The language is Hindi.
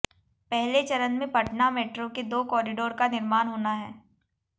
पहले चरण में पटना मेट्रो के दो कॉरिडोर का निर्माण होना है